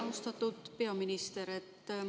Austatud peaminister!